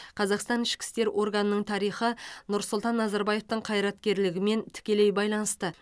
қазақстан ішкі істер органының тарихы нұрсұлтан назарбаевтың қайраткерлігімен тікелей байланысты